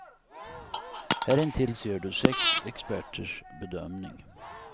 Här intill ser du sex experters bedömning.